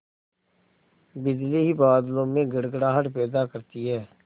बिजली ही बादलों में गड़गड़ाहट पैदा करती है